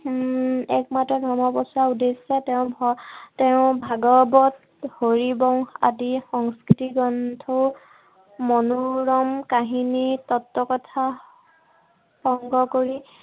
উম একমাত্ৰ ধৰ্ম প্ৰচাৰৰ উদ্দেশ্যে তেওঁ তেওঁ ভাগৱত, হৰিবংশ আদি সংস্কৃতি গ্ৰন্থও, মনোৰম কাহিনী তত্বকথা সংগ্ৰহ কৰি